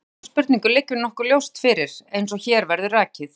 Svarið við þessari spurningu liggur nokkuð ljóst fyrir, eins og hér verður rakið.